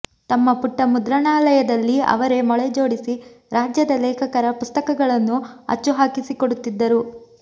ತಮ್ಮ ಪುಟ್ಟ ಮುದ್ರಣಾಲಯದಲ್ಲಿ ಅವರೇ ಮೊಳೆ ಜೋಡಿಸಿ ರಾಜ್ಯದ ಲೇಖಕರ ಪುಸ್ತಕಗಳನ್ನು ಅಚ್ಚು ಹಾಕಿಸಿಕೊಡುತ್ತಿದ್ದರು